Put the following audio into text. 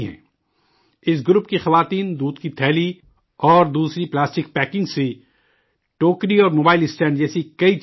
اس group کی عورتیں دودھ کی تھیلی اور دوسری پلاسٹک پیکنگ سے ٹوکری اور موبائل اسٹینڈ جیسی کئی چیزیں بناتی ہیں